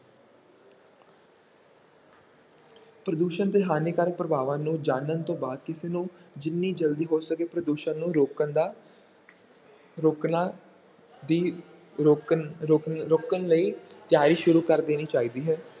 ਪ੍ਰਦੂਸ਼ਣ ਦੇ ਹਾਨੀਕਾਰਕ ਪ੍ਰਭਾਵਾਂ ਨੂੰ ਜਾਣਨ ਤੋਂ ਬਾਅਦ, ਕਿਸੇ ਨੂੰ ਜਿੰਨੀ ਜਲਦੀ ਹੋ ਸਕੇ ਪ੍ਰਦੂਸ਼ਣ ਨੂੰ ਰੋਕਣ ਦਾ ਰੋਕਣਾ ਦੀ ਰੋਕਣ ਰੋਕਣ ਰੋਕਣ ਲਈ ਤਿਆਰੀ ਸ਼ੁਰੂ ਕਰ ਦੇਣੀ ਚਾਹੀਦੀ ਹੈ।